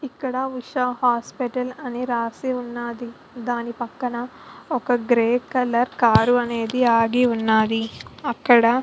ఇక్కడ ఉష హాస్పిటల్ అని రాసి ఉన్నాది దాని పక్కన ఒక గ్రే కలర్ కార్ అనేది ఆగి ఉన్నాది అక్కడ --